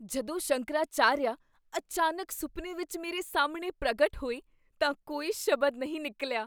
ਜਦੋਂ ਸ਼ੰਕਰਾਚਾਰੀਆ ਅਚਾਨਕ ਸੁਪਨੇ ਵਿੱਚ ਮੇਰੇ ਸਾਹਮਣੇ ਪ੍ਰਗਟ ਹੋਏ ਤਾਂ ਕੋਈ ਸ਼ਬਦ ਨਹੀਂ ਨਿਕਲਿਆ।